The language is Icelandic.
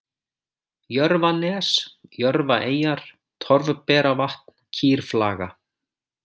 Jörfanes, Jörfaeyjar, Torfberavatn, Kýrflaga